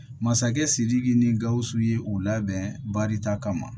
Masakɛ sidiki ni gausu ye u labɛn barita kama